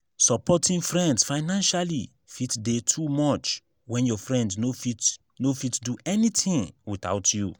supporting friends financially fit de too much when your friend no fit no fit do anything without you